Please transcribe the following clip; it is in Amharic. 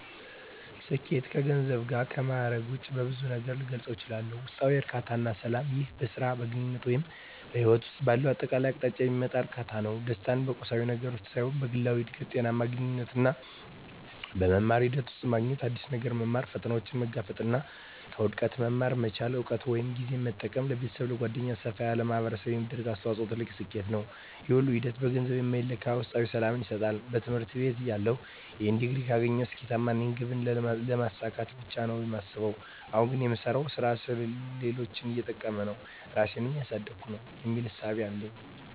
ስኬት ከገንዘብ እና ከማእረግ ውጭ በብዙ ነገር ልገልፀው እችላልሁ። ውስጣዊ እርካታ እና ሰላም ይህ በሥራ፣ በግንኙነት ወይም በሕይወት ውስጥ ባለው አጠቃላይ አቅጣጫ የሚመጣ እርካታ ነው። ደስታን በቁሳዊ ነገር ውስጥ ሳይሆን በግላዊ እድገት፣ ጤናማ ግንኙነቶች እና በመማር ሂደት ውስጥ ማግኘት። አዲስ ነገር መማር፣ ፈተናዎችን መጋፈጥ እና ከውድቀት መማር መቻል። እውቀትን ወይም ጊዜን በመጠቀም ለቤተሰብ፣ ለጓደኞች ወይም ሰፋ ላለ ማኅበረሰብ የሚደረግ አስተዋጽኦ ትልቅ ስኬት ነው። ይህ ሁሉ ሂደት በገንዘብ የማይለካ ውስጣዊ ሰላምን ይሰጣል። በትምህርት ቤትተያለሁ "ይህን ዲግሪ ካገኘሁ ስኬታማ ነኝ" ግብን ስለማሳካት ብቻ ነው የማስበው። አሁን ግን "የምሰራው ሥራ ሌሎችን እየጠቀመ ነው? ራሴን እያሳደግኩ ነው?" የሚል እሳቤ ነው ያለኝ።